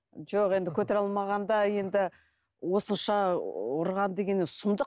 жоқ енді көтере алмағанда енді осынша ұрған деген енді сұмдық